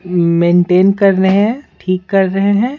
Maintain कर रहे हैं ठीक कर रहे हैं।